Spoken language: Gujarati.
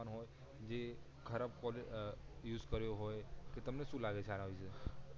જે ખરાબ પોલ અ યુઝ કરિયો હોય તો તમેં સુ લાગે છે આના વિશે